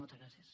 moltes gràcies